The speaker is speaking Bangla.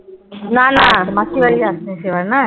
নানা মাসীবাড়ীর যাসনি সেবার না?